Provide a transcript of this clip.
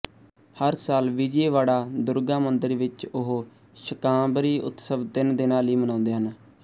ਹਰ ਸਾਲ ਵਿਜੇਵਾੜਾ ਦੁਰਗਾ ਮੰਦਿਰ ਵਿਚ ਉਹ ਸ਼ਕਾਂਬਰੀ ਉਤਸਵ ਤਿੰਨ ਦਿਨਾਂ ਲਈ ਮਨਾਉਂਦੇ ਹਨ